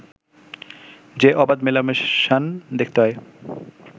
যে অবাধ মেলামেশান দেখতে হয়